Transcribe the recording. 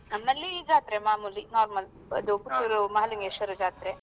ನಮ್ಮಲ್ಲಿ ಜಾತ್ರೆ ಮಾಮೂಲಿ normal ಇದು ಪುತ್ತೂರು ಮಹಲಿಂಗೇಶ್ವರ ಜಾತ್ರೆ.